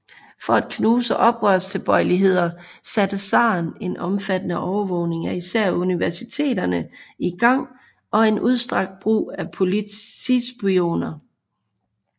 For at knuse oprørstilbøjeligheder satte zaren en omfattende overvågning af især universiteterne i gang og en udstrakt brug af politispioner